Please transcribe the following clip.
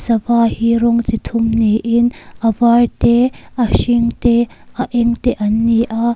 sava hi rawng chi thum niin a var te a hring te a eng te an ni a.